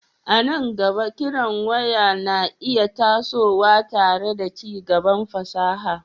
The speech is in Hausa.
A nan gaba, kiran waya na iya tasowa tare da ci gaban fasaha,